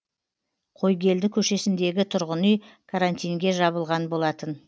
қойгелді көшесіндегі тұрғын үй карантинге жабылған болатын